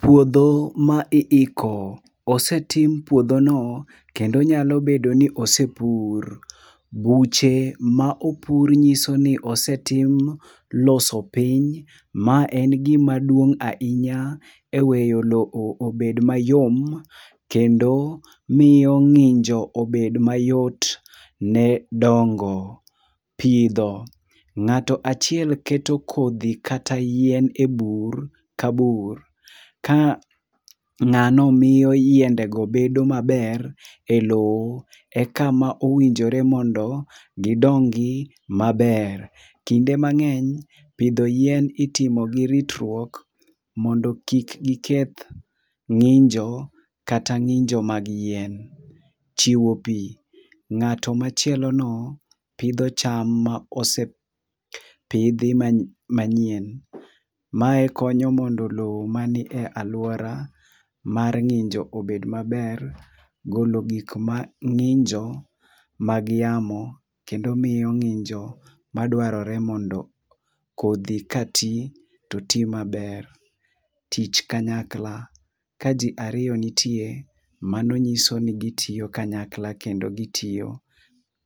Puodho ma iiko. Osetim puodhono kendo nyalo bedo ni osepur. Buche ma opur nyiso ni osetim loso piny ma en gima duong' ahinya e weyo lowo obed mayom kendo miyo ng'injo obed mayot ne dongo, pidho. Ng'ato achiel keto kodhi kata yien e bur ka bur ka ng'ano miyo yiendego bedo maber e lowo ekama owinjore mondo gidongi maber. Kinde mang'eny pidho yien itimo gi ritruok mondo kik iketh ng'injo kata ng'injo mag yien. Chiwo pi. Ng'ato machielono pidho cham maosepidhi manyien. Mae konyo mondo lowo man e alwora mar ng'injo obed maber golo gik ma ng'injo mag yamo kendo miyo ng'injo madwarore mondo kodhi ka ti to oti maber. Tich kanyakla. Ka ji ariyo nitie, mano nyiso ni gitiyo kanyakla kendo gitiyo